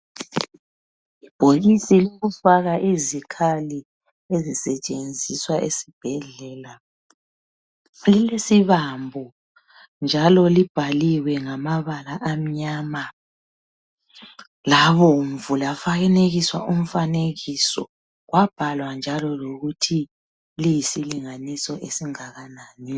Ibhokisi lokufaka izikhali ezisetshenziswa esibhedlela lilesibambo, njalo libhaliwe ngamabala amnyama labomvu labhalwa njalo ukuthi lilesilinganiso esingakanani.